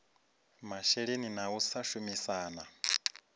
masheleni na u sa shumisana